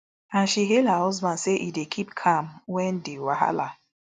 and she hail her husband say e dey keep calm wen di wahala